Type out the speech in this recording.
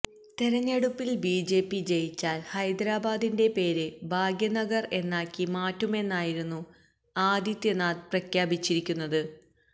തെരഞ്ഞെടുപ്പില് ബിജെപി ജയിച്ചാല് ഹൈദരാബാദിന്റെ പേര് ഭാഗ്യനഗര് എന്നാക്കി മാറ്റുമെന്നായിരുന്നു ആദിത്യനാഥ് പ്രഖ്യാപിച്ചിരിക്കുന്നത്